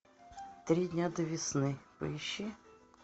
три дня до весны поищи